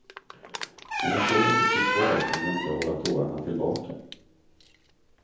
När jag såg att det stod kvar kunde jag inte hålla tårarna tillbaka.